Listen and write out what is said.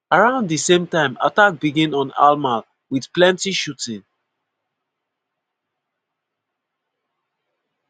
around di same time attack begin on hamal wit plenty shooting.